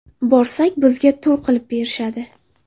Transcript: Borsak, bizga tur qilib berishadi.